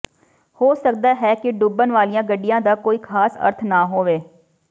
ਹੋ ਸਕਦਾ ਹੈ ਕਿ ਡੁੱਬਣ ਵਾਲੀਆਂ ਗੱਡੀਆਂ ਦਾ ਕੋਈ ਖ਼ਾਸ ਅਰਥ ਨਾ ਹੋਵੇ